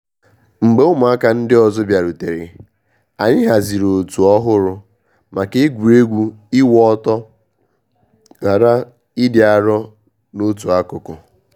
Mgbe ụmụaka ndi ọzọ bịarutere, anyị haziri òtù ọhụrụ maka egwuregwu iwu ọtọ ghara ịdị arọ n’otu akụkụ.